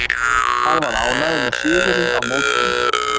Hann var ánægður með sigurinn á mótinu.